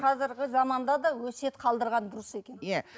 қазіргі заманда да өсиет қалдырған дұрыс екен иә